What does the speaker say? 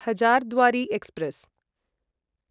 Hazarduari express